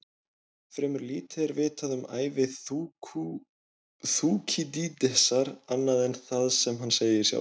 Fremur lítið er vitað um ævi Þúkýdídesar annað en það sem hann segir sjálfur.